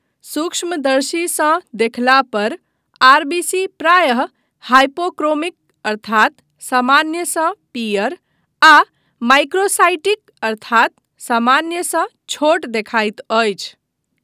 सूक्ष्मदर्शीसँ देखला पर आरबीसी प्रायः हाइपोक्रोमिक अर्थात सामान्यसँ पीयर आ माइक्रोसाइटिक अर्थात सामान्यसँ छोट देखाइत अछि।